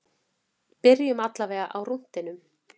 Byrjum allavega á rúntinum.